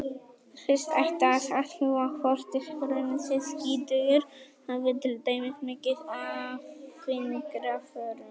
Fyrst ætti að athuga hvort diskurinn sé skítugur, hafi til dæmis mikið af fingraförum.